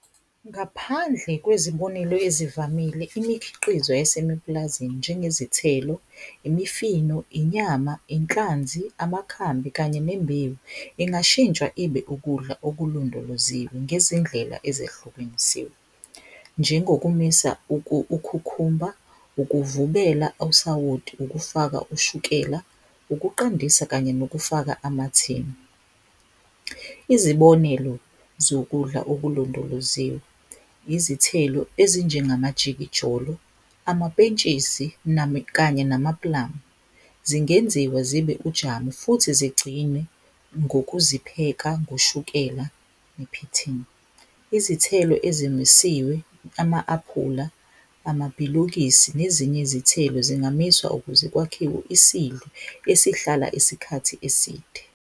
Ngaphandle kwezibonelo ezivamile imikhiqizo yesemiplazini njengezithelo, imifino, inyama, inhlanzi, amakhambi kanye nembewu ingashintsha ibe ukudla okulondoloziwe ngezindlela ezehlukenisiwe njengokumisa ukhukhumba, ukuvubela osawoti ukufaka ushukela, ukuqandisa kanye nokufaka amathini. Izibonelo zokudla okulondoloziwe, izithelo ezinjengamajikijolo, amapentshisi kanye namapulamu zingenziwe zibe ujamu futhi zigcinwe ngokuzipheka ngoshukela ne-pitting. Izithelo ezimisiwe ama-aphula, amabhilukisi nezinye izithelo zingamiswa ukuze kwakhiwe isidlo esihlala isikhathi eside.